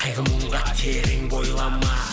қайғы мұңға терең бойлама